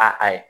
A ayi